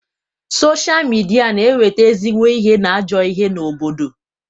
Sochaa midia na eweta ezigbo ihe na ajọ ihe n'obodo.